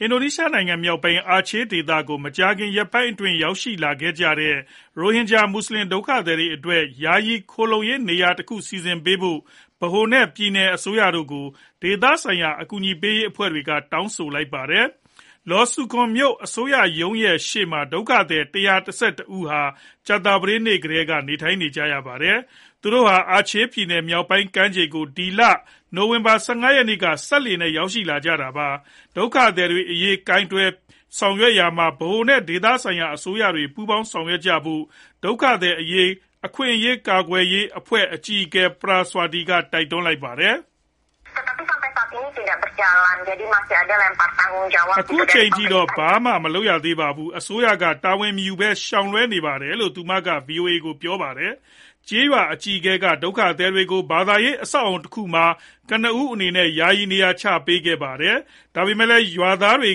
အင်ဒိုနီးရှားနိုင်ငံ မြောက်ပိုင်း အာချေး ဒေသကို မကြာခင်ရက်ပိုင်း အတွင်း ရောက်လာတဲ့ ရိုဟင်ဂျာ မွတ်ဆလင် ဒုက္ခသည်တွေ အတွက် ယာယီခိုလှုံရေး နေရာတခု စီစဉ်ပေးဖို့ ဗဟို နဲ့ ပြည်နယ်အစိုးရ တို့ကို ဒေသဆိုင်ရာ အကူအညီပေးရေး အဖွဲ့တွေက တောင်းဆိုလိုက်ကြပါတယ်။ Lhoksukon မြို့ အစိုးရရုံးရဲ့ရှေ့မှာ ဒုက္ခသည် ၁၁၁ ဦးဟာ ကြာသပတေးနေ့ကတည်းက နေထိုင်နေကြပါတယ်။ သူတို့ဟာ Aceh ပြည်နယ် မြောက်ပိုင်းကမ်းခြေကို ဒီလ နိုဝင်ဘာ ၁၅ ရက်နေ့က စက်လှေနဲ့ ရောက်ရှိလာကြပါတယ်။ ဒုက္ခသည်တွေ အရေး တုံ့ပြန်ကိုင်တွယ်ရေးမှာ ဗဟိုနဲ့ ဒေသဆိုင်ရာ အစိုးရတွေ ပူးပေါင်းဆောင်ရွက်ကြဖို့ ဒုက္ခသည် အခွင့်အရေး ကာကွယ်ရေး အဖွဲ့ အကြီးအကဲ Atika Yuanita Paraswaty က တိုက်တွန်းပါတယ်။ အခုအချိန်ထိတော့ ဘာမှမလုပ်သေးပါဘူး။ အစိုးရက တာဝန်မယူဘဲ ရှောင်လွှဲနေပါတယ်လို့ သူမက ဗွီအိုအေကို ပြောပါတယ်။ ကျေးရွာ အကြီးအကဲ က ဒုက္ခသည်တွေကို ဘာသာရေး အဆောက်အအုံ တခုမှာ ကနဦး အနေနဲ့ ယာယီ နေရာချထားပေးခဲ့တာပါ။ ဒါပေမဲ့လည်း ရွာခံတွေ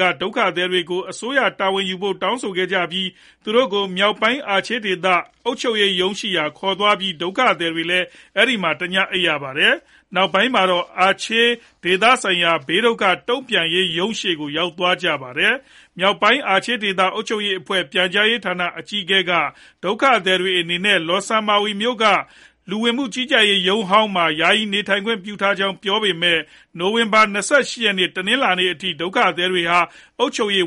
က ဒုက္ခသည်တွေကို အစိုးရက တာဝန်ယူဖို့ တောင်းဆိုခဲ့ကြပြီး သူတို့ကို မြောက်ပိုင်း အာချေး ဒေသ အုပ်ချုပ်ရေးရုံးတွေဆီ ခေါ်သွားခဲ့ကြပြီး ဒုက္ခသည်တွေ အဲဒီမှာ တည အိပ်ခဲ့ရပါတယ်။ နောက်ပိုင်းမှာတော့ မြောက်ပိုင်း အာချေး ဒေသဆိုင်ရာ ဘေးဒုက္ခ တုံ့ပြန်ဆောင်ရွက်ရေး ရုံးရှေ့ကို ရောက်သွားကြပါတယ်။ မြောက်ပိုင်း အာချေး ဒေသဆိုင်ရာ အုပ်ချုပ်ရေးအဖွဲ့ရဲ့ ပြန်ကြားရေး ဌာန အကြီးကအဲ Hamdani က ဒုက္ခသည်တွေ အနေနဲ့ Lhokseumawe မြို့က လူဝင်မှုကြီးကြပ်ရေး ရုံးဟောင်းမှာ ယာယီ နေထိုင်ခွင့် ပြုထားကြောင်း ပြောပေမဲ့ နိုဝင်ဘာလ ၂၈ ရက်နေ့ တနလာၤနေ့ထိ ဒုက္ခသည်တွေဟာ အုပ်ချုပ်ရေး